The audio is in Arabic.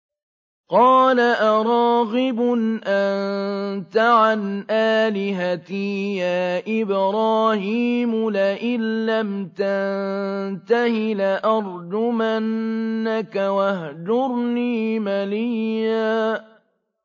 قَالَ أَرَاغِبٌ أَنتَ عَنْ آلِهَتِي يَا إِبْرَاهِيمُ ۖ لَئِن لَّمْ تَنتَهِ لَأَرْجُمَنَّكَ ۖ وَاهْجُرْنِي مَلِيًّا